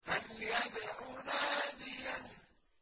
فَلْيَدْعُ نَادِيَهُ